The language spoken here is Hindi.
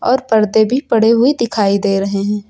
और पर्दे भी पड़े हुए दिखाई दे रहे हैं।